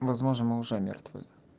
возможно мы уже мертвы